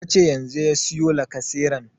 Yace yanzu ya siyo lacaseran